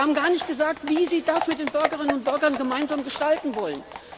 Sie haben gar nicht gesagt, wie Sie das mit den Bürgerinnen und Bürgern gemeinsam gestalten wollen.